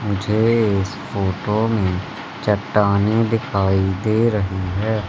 मुझे इस फोटो में चट्टाने दिखाई दे रही है।